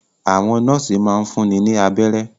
Àwọn nọ́ọ́sì máa ń fúnni ní abẹ́rẹ́.